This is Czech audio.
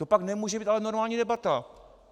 To pak nemůže být ale normální debata.